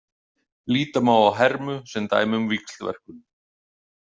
Líta má á hermu sem dæmi um víxlverkun.